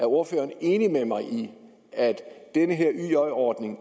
ordføreren enig med mig i at den her yj ordning